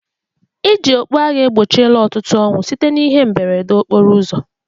Iji okpu agha egbochila ọtụtụ ọnwụ site n'ihe mberede okporo ụzọ